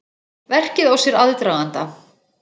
Verkið á sér aðdraganda.